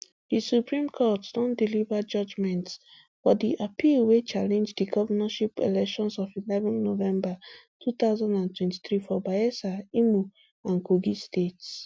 di supreme court don deliver judgments for di appeal wey challenge di govnorship elections of eleven november two thousand and twenty-three for bayelsa imo and kogi states